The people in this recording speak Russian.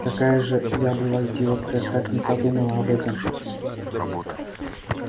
какая же я была идиотка как не подумала об этом